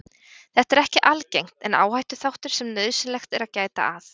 Þetta er ekki algengt en áhættuþáttur sem nauðsynlegt er að gæta að.